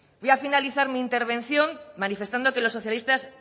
voy a finalizar mi intervención manifestando que los socialistas